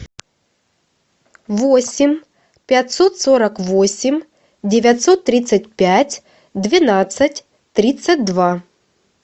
восемь пятьсот сорок восемь девятьсот тридцать пять двенадцать тридцать два